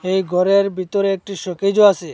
এই ঘরের ভিতরে একটি শোকেজও আছে।